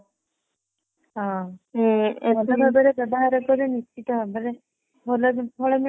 ହୁଁ ଭଲ ଭାବରେ ବ୍ୟବହାର କଲେ ନିଶ୍ଚିନ୍ତ ଭାବରେ ଭଲ ଫଳ ମିଳିବ